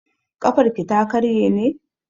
Ƙafarki ta karye ne?